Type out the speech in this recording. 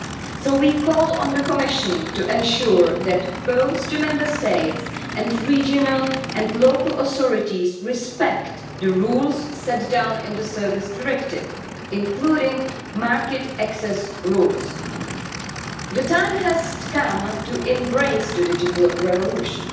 So we call on the Commission to ensure that both the Member States and regional and local authorities respect the rules set down in the Service Directive, including market access rules. The time has come to embrace the digital revolution.